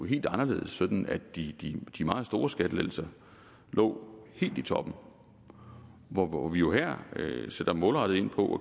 helt anderledes sådan at de meget store skattelettelser lå helt i toppen hvor hvor vi jo her sætter målrettet ind på